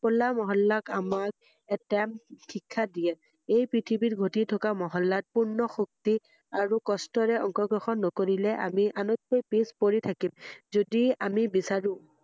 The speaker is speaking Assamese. হোলা মহল্লাক আমাক এটা ভিক্ষা দিয়ে৷এই পৃথিৱীৰ গতি কথা মহল্লাত পূৰ্ণ শক্তি আৰু কস্টেৰে অংশগ্ৰহণ নকৰিলে আমি আনতকৈ পিছ পৰি থাকিম৷যদি আমি বিছাৰো৷